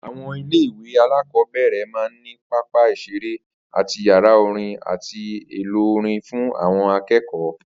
Àwo̩n ilé ìwé alákò̩ó̩bè̩rè̩ máa ń ní pápá ìs̩eré àti yàrá orin àti èlò orin fún àwo̩n aké̩kò̩ó̩